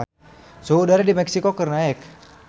Suhu udara di Meksiko keur naek